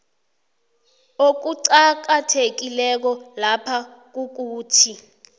okuqakathekileko lapha kukuthi